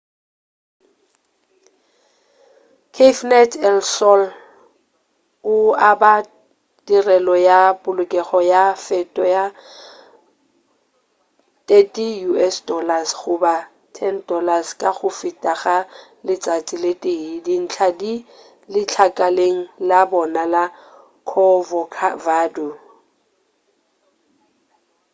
cafenet el sol o aba tirelo ya polokelo ka tefo ya us$30 goba $10 ka go feta ga letšatši le tee; dintlha di letlakaleng la bona la corcovado